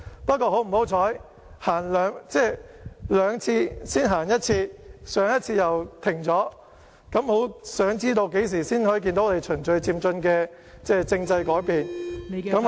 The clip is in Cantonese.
不過，很不幸，經過兩次討論才走前一步，上次又停滯不前，我很想知道何時才可以看到循序漸進的政制改變......